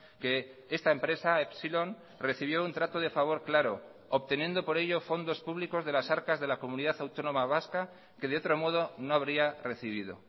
que esta empresa epsilon recibió un trato de favor claro obteniendo por ello fondos públicos de las arcas de la comunidad autónoma vasca que de otro modo no habría recibido